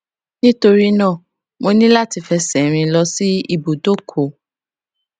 nítorí náà mo ní láti fẹsè rìn lọ sí ibùdókò